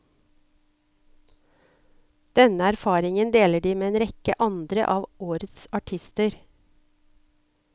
Denne erfaringen deler de med en rekke andre av årets artister.